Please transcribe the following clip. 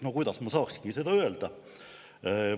No kuidas ma saakski seda öelda?